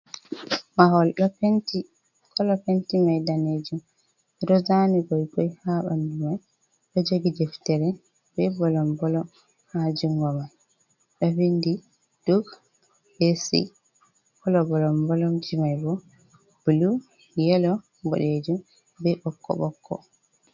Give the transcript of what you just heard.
Mahol ɗo penti. Kolo penti mai danejum. Ɗo zani goi-goi ha ɓandu mai ɗo jogi deftere be bolom-bolom ha jungo mai ɗo vindi duck be C. Kolo bolom-bolomji mai bo bulu, yelo, boɗejum be ɓokko-ɓokko.